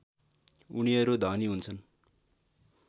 उनीहरू धनी हुन्छन्